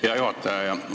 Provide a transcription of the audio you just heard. Hea juhataja!